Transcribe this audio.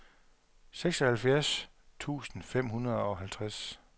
seksoghalvfjerds tusind fem hundrede og halvtreds